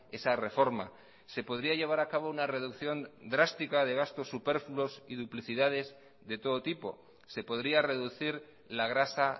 esa reforma se podría llevar a cabo una reducción drástica de gastos superfluos y duplicidades de todo tipo se podría reducir la grasa